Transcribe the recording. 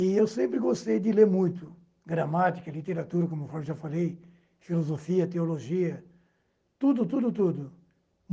E eu sempre gostei de ler muito, gramática, literatura, como eu já falei, filosofia, teologia, tudo, tudo, tudo.